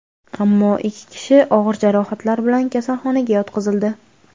ammo ikki kishi og‘ir jarohatlar bilan kasalxonaga yotqizildi.